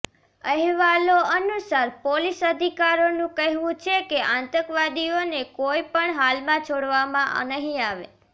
અહેવાલો અનુસાર પોલીસ અધિકારીનું કહેવું છે કે આતંકવાદીઓને કોઈ પણ હાલમાં છોડવામાં નહીં આવે